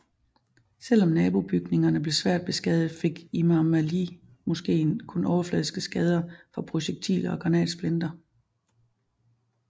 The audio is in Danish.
Selvom nabobygningerne blev svært beskadiget fik Imam Ali Moskeen kun overfladiske skader fra projektiler og granatsplinter